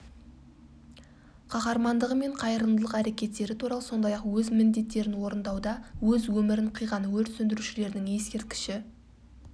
қаһармандығы мен қайырымдылық әрекеттері туралы сондай-ақ өз міндеттерін орындауда өз өмірін қиған өрт сөндірушілерінің ескерткіші